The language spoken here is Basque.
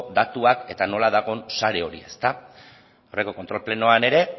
datuak eta nola dagoen sare hori ezta aurreko kontrol plenoan ere